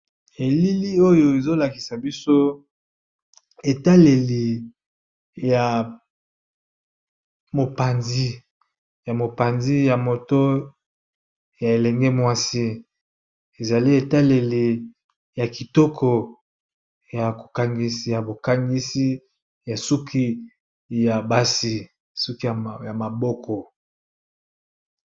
Oyo ezolakisa biso etaleliya mopanzi ya moto ya elenge mwasi ezali etaleli ya kitoko ya kokangisi ya bokangisi ya suki ya basi suki ya maboko.